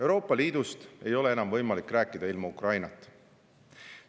Euroopa Liidust ei ole enam võimalik rääkida ilma Ukrainata.